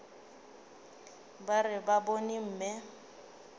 ba re ba bone mme